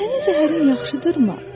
Sənin zəhərin yaxşıdırmı?